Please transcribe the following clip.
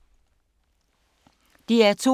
DR2